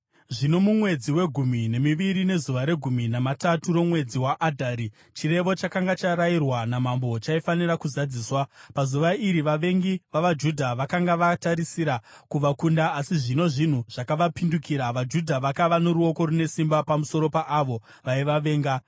Zvino mumwedzi wegumi nemiviri nezuva regumi namatatu romwedzi waAdhari, chirevo chakanga charayirwa namambo chaifanira kuzadziswa. Pazuva iri, vavengi vavaJudha vakanga vatarisira kuvakunda, asi zvino zvinhu zvakavapindukira, vaJudha vakava noruoko rune simba pamusoro paavo vaivavenga.